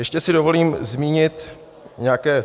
Ještě si dovolím zmínit nějaké ...